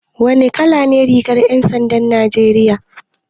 Wane kala ne rigar 'yan sandan Najeriya?